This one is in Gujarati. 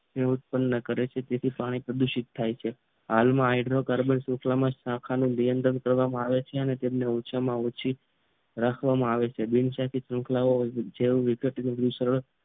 તે ઉત્પન્ન કરે છે તેથી પાણી પ્રદૂષિત થાય છે હાલ માં હાઇડ્રોકાર્બન શૃંખલા માં તેનું નિયંત્રણ કરવામાં આવે છે તેં ઓછામાં ઓછી રાખવમાં આવે છે બિન શાખાત શૃંખલા જેવુ વિગત